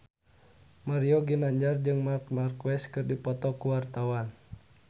Mario Ginanjar jeung Marc Marquez keur dipoto ku wartawan